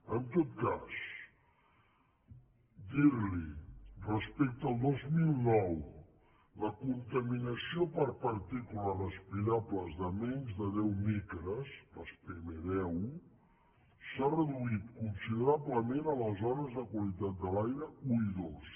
en tot cas dir li respecte al dos mil nou la contaminació per partícules respirables de menys de deu micres les pm10 s’ha reduït considerablement a les zones de qualitat de l’aire un i dos